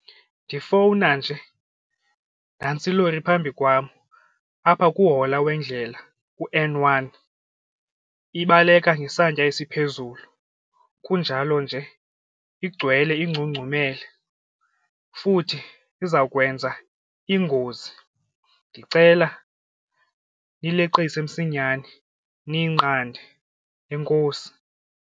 Ndifowuna nje nantsi ilori phambi kwam apha kuhola wendlela u-N one ibaleka ngesantya esiphezulu kunjalo nje igcwele ingcungcumele futhi izawukwenza ingozi ndicela nileqise msinyane ndiyinqande, enkosi.